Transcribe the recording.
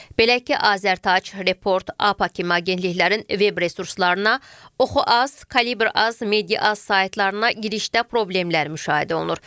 Belə ki, Azərtac, Report, APA kimi agentliklərin web resurslarına, Oxu.az, Kalibr.az, Media.az saytlarına girişdə problemlər müşahidə olunur.